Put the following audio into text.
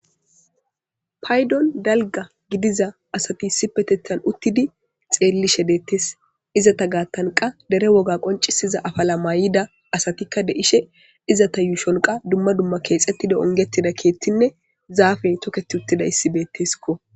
paydon dalga gidiza asati si petethan uttidi xeellishe deettes izata gaattanqa dere woga qoncisiza afala maay7ida asatikka de7ishe izata yuu shonqa dumma dumma keexettida ongettida keethtinne zaafey toketi uttida issibeetteskko